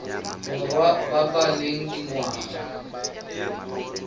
borwa ba ba leng dingwaga